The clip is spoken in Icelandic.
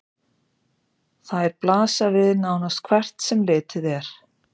Þær blasa við nánast hvert sem litið er.